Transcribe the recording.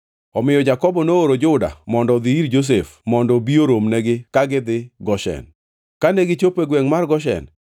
Omiyo Jakobo nooro Juda mondo odhi ir Josef mondo obi oromnegi ka gidhi Goshen. Kane gichopo e gwengʼ mar Goshen,